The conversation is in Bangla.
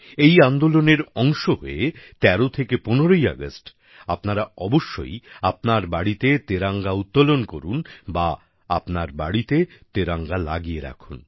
এই আন্দোলনের অংশ হয়ে ১৩ থেকে ১৫ আগস্ট আপনারা অবশ্যই আপনার বাড়িতে তেরঙ্গা উত্তোলন করুন বা আপনার বাড়িতে তেরঙ্গা লাগিয়ে রাখুন